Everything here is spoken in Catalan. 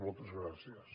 moltes gràcies